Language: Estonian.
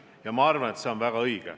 Ja ma arvan, et see on väga õige.